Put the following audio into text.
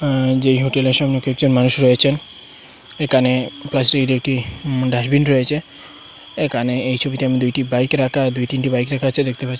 আ যেই হোটেলের সামনে কিছু মানুষ রয়েছেন একানে প্লাস্টিকের একটি ডাস্টবিন রয়েছে এখানে এই ছবিটার মধ্যে দুইটি বাইক রাখা দুই তিনটি বাইক রাখা আছে দেখতে পাচ্ছি।